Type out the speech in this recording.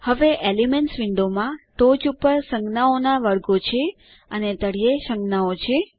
હવે એલિમેન્ટ્સ વિન્ડોમાં ટોચ ઉપર સંજ્ઞાઓના વર્ગો છે અને તળિયે સંજ્ઞાઓ છે